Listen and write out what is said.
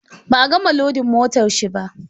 Ba a gama lodin motar shi ba.